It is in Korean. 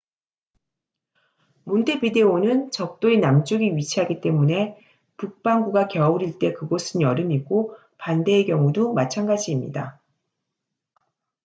몬테비데오는 적도의 남쪽에 위치하기 때문에 북반구가 겨울일 때 그곳은 여름이고 반대의 경우도 마찬가지입니다